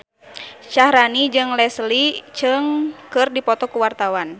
Syaharani jeung Leslie Cheung keur dipoto ku wartawan